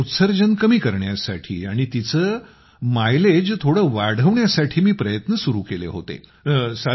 त्यामुळे उत्सर्जन कमी करण्यासाठी आणि तिचे मायलेज थोडे वाढवण्यासाठी मी प्रयत्न सुरु केले होते